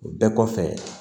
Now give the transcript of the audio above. O bɛɛ kɔfɛ